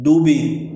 Dɔw bɛ yen